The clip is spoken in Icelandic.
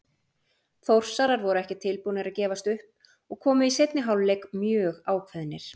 Þórsarar voru ekki tilbúnir að gefast upp og komu í seinni hálfleik mjög ákveðnir.